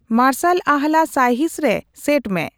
ᱢᱟᱨᱥᱟᱞ ᱟᱦᱞᱟ ᱥᱟᱭᱦᱤᱸᱥ ᱨᱮ ᱥᱮᱴ ᱢᱮ